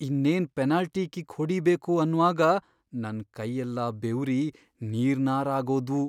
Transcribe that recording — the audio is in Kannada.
ಇನ್ನೇನ್ ಪೆನಾಲ್ಟಿ ಕಿಕ್ ಹೊಡಿಬೇಕು ಅನ್ವಾಗ ನನ್ ಕೈಯೆಲ್ಲ ಬೆವ್ರಿ ನೀರ್ನಾರಾಗೋದ್ವು.